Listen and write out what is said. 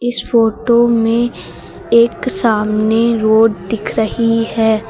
इस फोटो में एक सामने रोड दिख रही है।